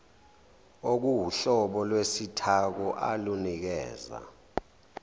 okuwuhlobo lwesithako olunikeza